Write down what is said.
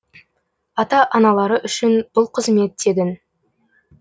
ата аналары үшін бұл қызмет тегін